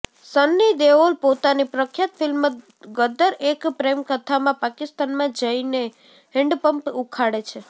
સન્ની દેઓલ પોતાની પ્રખ્યાત ફિલ્મ ગદ્દર એક પ્રેમકથામાં પાકિસ્તાનમાં જઈને હેન્ડપંપ ઉખાડે છે